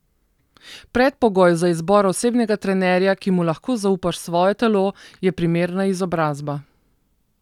Predpogoj za izbor osebnega trenerja, ki mu lahko zaupaš svoje telo, je primerna izobrazba.